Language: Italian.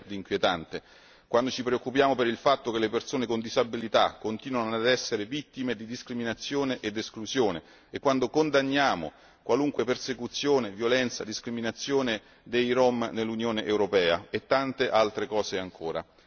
Cosa c'è di inquietante quando ci preoccupiamo per il fatto che le persone con disabilità continuano ad essere vittime di discriminazione ed esclusione e quando condanniamo qualunque persecuzione, violenza, discriminazione dei Rom nell'Unione europea, e tante altre cose ancora?